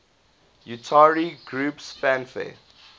utari groups fanfare